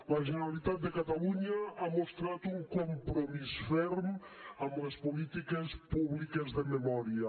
la generalitat de catalunya ha mostrat un compromís ferm amb les polítiques públiques de memòria